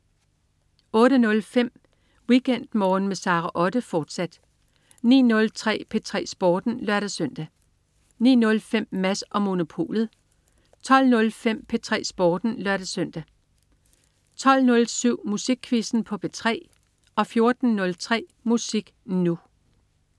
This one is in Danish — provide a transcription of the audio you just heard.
08.05 WeekendMorgen med Sara Otte, fortsat 09.03 P3 Sporten (lør-søn) 09.05 Mads & Monopolet 12.05 P3 Sporten (lør-søn) 12.07 Musikquizzen på P3 14.03 Musik Nu!